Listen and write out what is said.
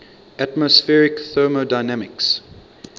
atmospheric thermodynamics